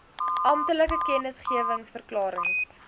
amptelike kennisgewings verklarings